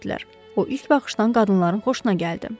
O ilk baxışdan qadınların xoşuna gəldi.